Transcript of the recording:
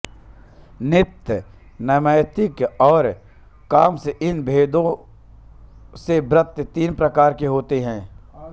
नित्य नैमित्तिक और काम्य इन भेदों से व्रत तीन प्रकार के होते हैं